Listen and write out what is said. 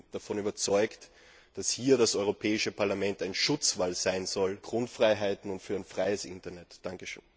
Ich bin davon überzeugt, dass hier das Europäische Parlament ein Schutzwall für Grundfreiheiten und für ein freies Internet sein sollte.